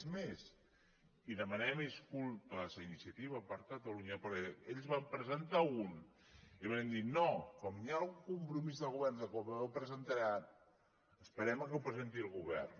és més i demanem disculpes a iniciativa per catalunya perquè ells en van presentar un i vàrem dir no com hi ha un compromís del govern que aviat ho presentarà esperem que ho presenti el govern